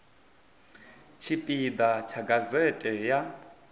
tshipi ḓa tsha gazete ya